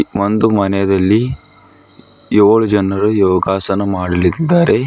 ಒಂದು ಮನೆದಲ್ಲಿ ಯೋಳು ಜನರು ಯೋಗಾಸನ ಮಾಡಲಿದ್ದಾರೆ.